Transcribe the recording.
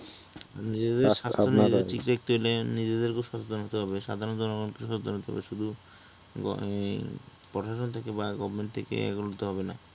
এই ব্যাপারে নিজেদেরকে সাবধান হতে হবে সাধারণ জনগণকে সতর্ক হতে হবে শুধু ঐ প্রশাসন থেকে বা government থেকে এগুলে তো হবে না